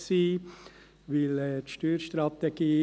man müsste jeweils alles erzählen.